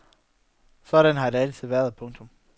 Sådan har det altid været. punktum